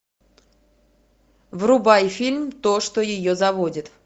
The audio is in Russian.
врубай фильм то что ее заводит